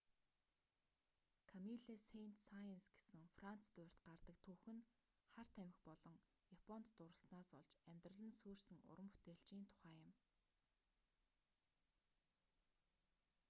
камилле сэйнт-саенс гэсэн франц дуурьт гардаг түүх нь хар тамхи болон японд дурласнаас болж амьдрал нь сүйрсэн уран бүтээлчийн тухай юм